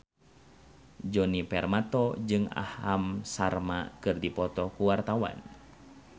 Djoni Permato jeung Aham Sharma keur dipoto ku wartawan